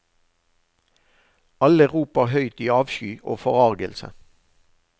Alle roper høyt i avsky og forargelse.